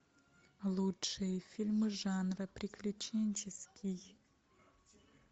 лучшие фильмы жанра приключенческий